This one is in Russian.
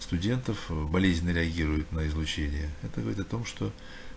студентов ээ болезненно реагируют на излучение это говорит о том что